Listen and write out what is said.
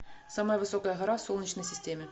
самая высокая гора в солнечной системе